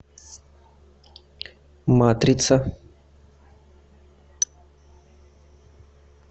матрица